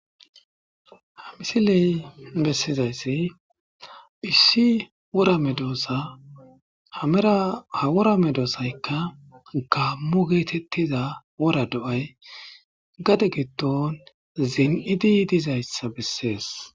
Ha misiley bessizayssi issi wora medoosa hamerahawora me doosaykka gaammu geetettiza wora do7ay gade giddon zin7idi dizayssa bessees